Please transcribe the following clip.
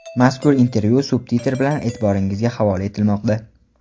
Mazkur intervyu subtitr bilan e’tiboringizga havola etilmoqda.